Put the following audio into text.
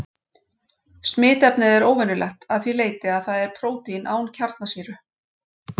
Smitefnið er óvenjulegt að því leyti að það er prótín án kjarnasýru.